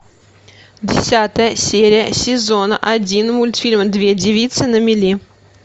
десятая серия сезона один мультфильма две девицы на мели